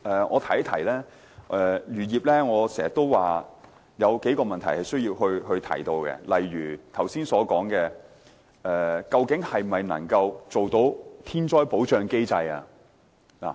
我經常說漁業有幾個問題需要解決，例如我剛才所說，是否能做到"天災保障機制"？